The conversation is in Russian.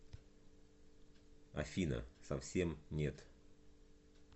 афина совсем нет